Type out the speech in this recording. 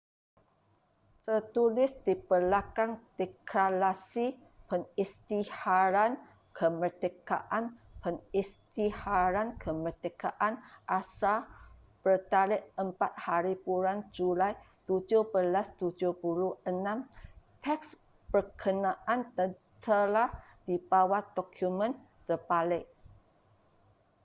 tertulis di belakang deklarasi pengisytiharan kemerdekaan pengisytiharan kemerdekaan asal bertarikh 4hb julai 1776 teks berkenaan tertera di bawah dokumen terbalik